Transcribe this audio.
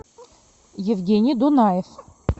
евгений дунаев